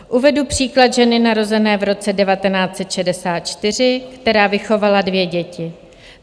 Uvedu příklad ženy narozené v roce 1964, která vychovala dvě děti.